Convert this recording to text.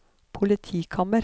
politikammer